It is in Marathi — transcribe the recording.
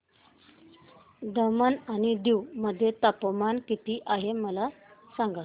दमण आणि दीव मध्ये तापमान किती आहे मला सांगा